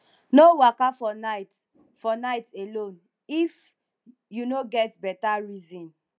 no waka for night for night alone if you no get beta reason